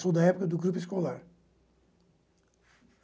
Sou da época do grupo escolar.